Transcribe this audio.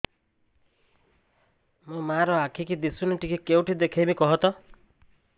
ମୋ ମା ର ଆଖି କି ଦିସୁନି ଟିକେ କେଉଁଠି ଦେଖେଇମି କଖତ